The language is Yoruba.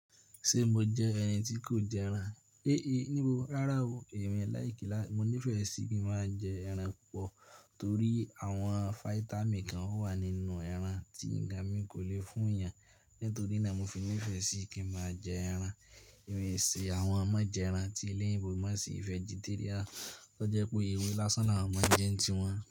Ṣe mo jẹ́ ẹni tí kò jẹ ẹran? Éé níbo rárá o. Ẹ̀mí láì kí lá-- mo nífẹ̀ẹ́ sí kí n máa jẹ ẹran púpọ̀ torí àwọn fáítámì kan wà nínú ẹran tí ǹga mi kò le fún ìyà. Nítorí náà mo fi nífẹ̀ẹ́ sí kí máa jẹ ẹran. Ẹ̀mí sì àwọn ọmọ jẹ ẹran tí ilé ìbò má sì vegeterian tó jẹ́ pé ewé lásán làwọn máa ń jẹun tiwọn.